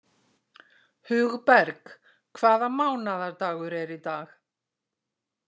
Hugberg, hvaða mánaðardagur er í dag?